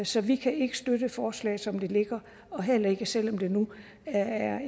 så vi kan ikke støtte forslaget som det ligger heller ikke selv om det nu er